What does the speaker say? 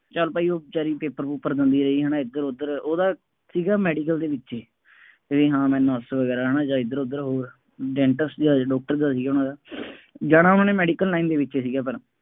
ਚੱਲ ਭਾਈ ਉਹ ਬੇਚਾਰੀ paper ਪੂਪਰ ਦਿੰਦੀ ਰਹੀ ਹੈ ਨਾ ਇੱਧਰ ਉੱਧਰ, ਉਹਦਾ ਸੀਗਾ ਮੈਡੀਕਲ ਦੇ ਵਿੱਚ, ਵਗੈਰਾ ਜਾਂ ਇੱਧਰ ਉੱਧਰ ਹੋਰ, dentist ਦਾ ਸੀਗਾ, ਡਾਕਟਰ ਦਾ ਸੀਗਾ ਉਹਨਾ ਦਾ, ਜਾਣਾ ਉਹਨਾ ਨੇ ਮੈਡੀਕਲ ਲਾਈਨ ਦੇ ਵਿੱਚ ਹੀ ਸੀਗਾ ਪਰ